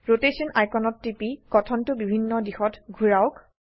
rotation আইকনত টিপি গঠনটো বিভিন্ন দিশত ঘোৰাওক